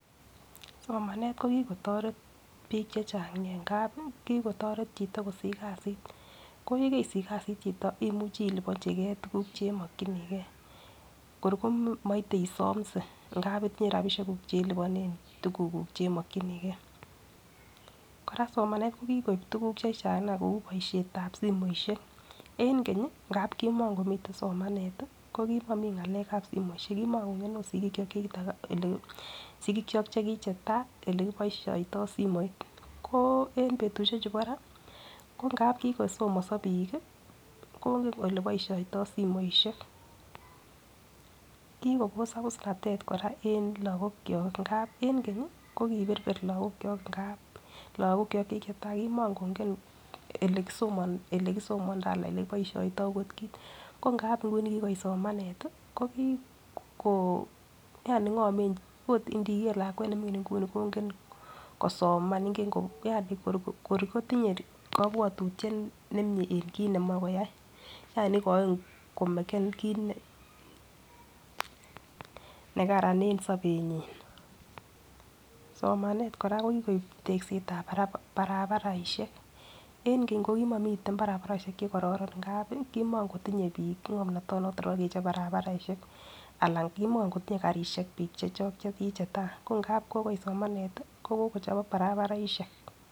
Somanet ko kitoret bik chechang nia kikotoret chito kosich kasit ko yekeisich kasit chito imuche iliponchigee tukuk chemokinigee kor komoite isomse ngap itinye rabishek kuk chelibone tukuk kuk chemokinigee Koraa somanet ko kikoib tukuk chechang nia kou boishetab simoishek en keny ngap kimokomiten somanet tii ko kimokomii ngalekab simoishek kimokingen ot sikikyok chekita kole sikikyok chekichetai ole kiboishoito simoit ko en betushek chuu bo raa ko ngap kikosomodo bik kii kongen oleboishoito simoishek. Kikobos abusnatet Koraa en Lokok kyok ngap en kenyi ko kiberber Lokok kyok ngap lokok kyok chekichetai komokongen elekisomon ole kisomondoo alsn ole kiboishoito okot kit ko ngap nguni kikoit somanet tii ko kii ko yani ngoment ot ndiker lakwet nemingin nkuni kongen kosom ingen ko yani kor kotinye kobwotutyet nemie en kit nemoi koyai yani ikoini komeken kit nekaran en sobenyin. Somanet koraaa ko kikoib teksetsb barabaraishek, en keny ko kimokomiten barabaroshek chekororon ngap komokotinye bik ngomnoto noton nebo kechob barabaraishek Alan komo kotinyee karishek bik chekichetai ko ngap kokoit somanet tii ko kokochobok barabaraishek.